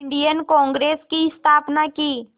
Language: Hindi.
इंडियन कांग्रेस की स्थापना की